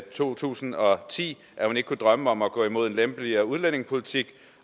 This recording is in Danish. to tusind og ti at hun ikke kunne drømme om at gå over mod en lempeligere udlændingepolitik